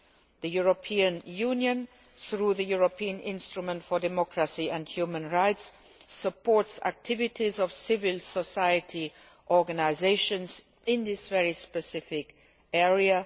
The European Union, through the European Instrument for Democracy and Human Rights, supports the activities of civil society organisations in this very specific area.